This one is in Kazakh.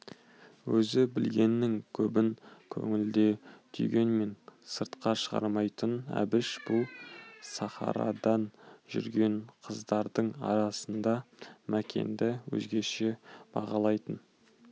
өзі білгеннің көбін көңілде түйгенмен сыртқа шығармайтын әбіш бұл сахарада жүрген қыздардың арасында мәкенді өзгеше бағалайтын